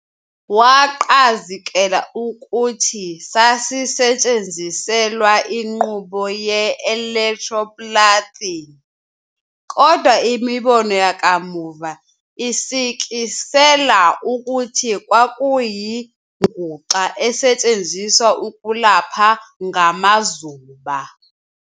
Waqazikela ukuthi sasisetshenziselwa inqubo ye-"electroplating", kodwa imibono yakamuva isikisela ukuthi kwakuyinguxa esetshenziswa ukulapha ngamazuba.